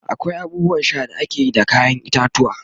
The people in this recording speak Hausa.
akwai abubuwan Sha da akeyi da kayan itatuwwa